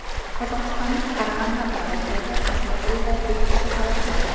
Qozog‘istonning Qarag‘anda viloyatidagi qishloq uyida besh kishi halok bo‘ldi.